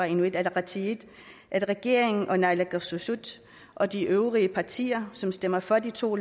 inuit ataqatigiit at regeringen og naalakkersuisut og de øvrige partier som stemmer for de to